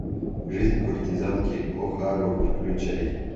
жизнь куртизанки охару включай